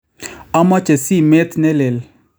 Amoche simeet ne leel